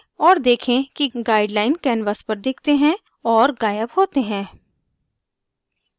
और देखें कि guideline canvas पर दिखते हैं और ग़ायब होते हैं